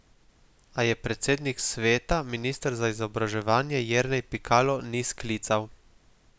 A je predsednik sveta, minister za izobraževanje Jernej Pikalo, ni sklical.